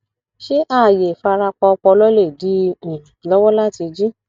ṣé ààyè ìfarapa ọpọlọ lè dí i um lọwọ láti jí